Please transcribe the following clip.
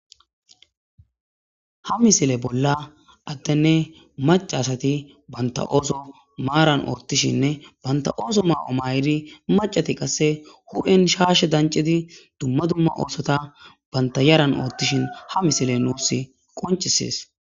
Ha misile bolla attenne macaasati banta ooso maaran ortishinne banta ooso maa7o may7idi macati qasse hu7en shaashe dancidi dumma dumma oosota banta yaran oottishin ha misile nuus qoncisees